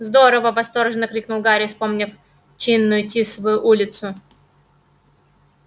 здорово восторженно воскликнул гарри вспомнив чинную тисовую улицу